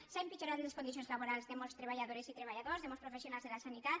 s’han empitjorat les condicions laborals de moltes treballadores i treballadors de molts professionals de la sanitat